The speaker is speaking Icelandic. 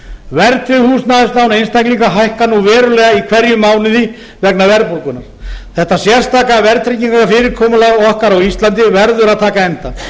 verðtryggð húsnæðislán einstaklinga hækka nú verulega í hverjum mánuði vegna verðbólgunnar þetta sérstaka verðtryggingarfyrirkomulag okkar á íslandi verður að taka enda